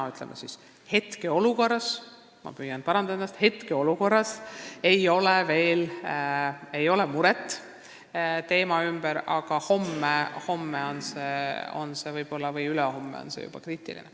Ma ütlen siis, et hetkeolukord – ma püüan ennast parandada – on selline, et meil ei ole veel põhjust muretseda, aga homme või ülehomme on olukord juba kriitiline.